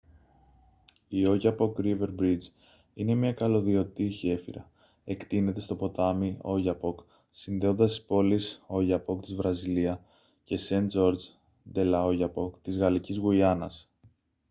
η oyapock river bridge είναι μια καλωδιωτή γέφυρα εκτείνεται στο ποτάμι oyapock συνδέοντας τις πόλεις oiapoque της βραζιλία και saint-georges de l'oyapock της γαλλικής γουιάνας